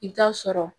I bɛ taa sɔrɔ